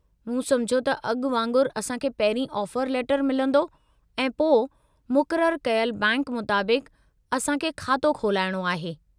मूं समुझियो त अॻु वांगुरु असांखे पहिरीं ऑफर लेटरु मिलंदो ऐं पोइ मुक़ररु कयलु बैंक मुताबिक़ु असांखे खातो खुलाइणो आहे।